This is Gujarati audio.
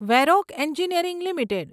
Varroc Engineering limited